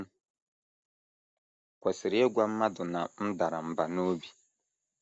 M̀ Kwesịrị Ịgwa Mmadụ na M Dara Mbà n’Obi? ”